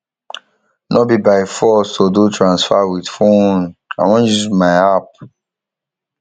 no be by force to do transfer with phone i wan use my app